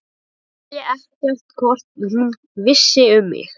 Ég vissi ekkert hvort hún vissi um mig.